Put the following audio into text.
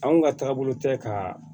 Anw ka taabolo tɛ ka